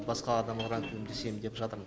басқа адамдарға көмектесейін деп жатырмын